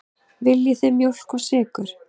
Viljið þið mjólk og sykur?